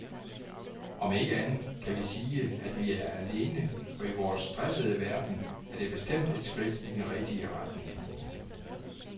Om ikke andet kan vi sige, at vi er alene, og i vores stressede verden er det bestemt et skridt i den rigtige retning.